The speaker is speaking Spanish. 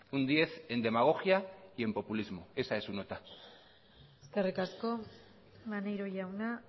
un diez en demagogia y en populismo esa es su nota eskerrik asko maneiro jauna